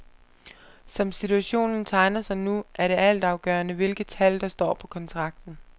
Som situationen tegner sig nu, er det altafgørende, hvilke tal der står på kontrakten.